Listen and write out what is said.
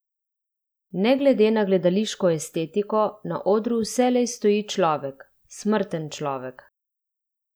Ne glede na gledališko estetiko, na odru vselej stoji človek: "Smrten človek.